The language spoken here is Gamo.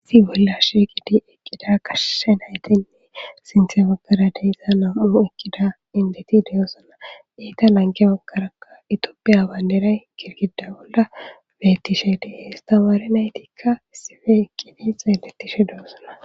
Issi bolla shiiqidi utida gashe nayti yabagara eqqida nam7u enddet de7oosona. Etta lanqqe bagarakka ithophiya bandiray eqqis girgidda bolla beetishe de7ees. Hara naytikka issippe eqqidi xeeleishe doosona